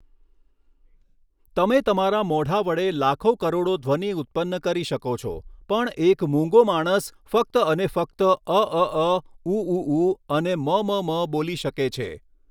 તમે તમારા મોઢા વડે લાખો કરોડો ધ્વનિ ઉત્પન્ન કરી શકો છો પણ એક મૂંગો માણસ ફક્ત અને ફક્ત અઅઅ ઉઉઉ અને મમમ બોલી શકે છે.